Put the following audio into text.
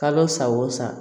Kalo sa o san